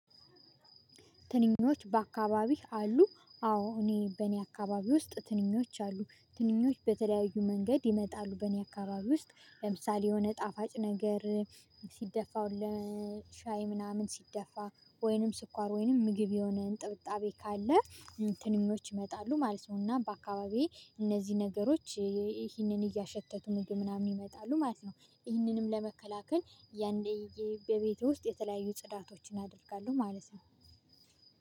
ትንኞች በአካባቢህ አሉ አዎ እኔ በእኔ አካባቢ ውስጥ ትንኞች አሉ። ትንኞች በተለያዩ መንገድ ይመጣሉ በእኔ አካባቢ ውስጥ ለምሳሌ የሆነ ጣፋጭ ነገር ሲደፋው ለሻይ ምናምን ሲደፋ ወይንም ስኳር ወይንም ምግብ የሆነ ጥብጣቤ ካለ ትንኞች ይመጣሉ ማለት ነው። እና በአካባቢዬ እነዚህ ነገሮች ይህንን እያሸተቱ ምንድነው? ምናምን ይመጣሉ ማለት ነው። ይህንንም ለመከላከል ያንዴ በቤቱ ውስጥ የተለያዩ ጽዳቶችን አደርጋለሁ ማለት ነው።